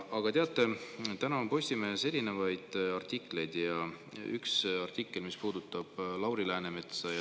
Aga teate, täna on Postimehes erinevaid artikleid ja üks artikkel puudutab Lauri Läänemetsa.